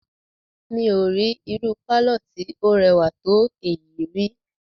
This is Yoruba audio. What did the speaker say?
Mí ò rí irú pálọ̀ tí o rẹwà tó èyí ríi.